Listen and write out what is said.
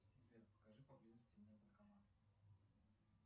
сбер покажи поблизости мне банкомат